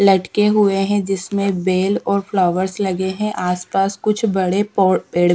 लटके हुए हैं जिसमें बेल और फ्लावर्स लगे हैं आस पास कुछ बड़े पौड़ पेड़--